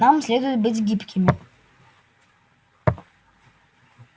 нам следует быть гибкими